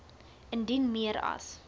indien meer as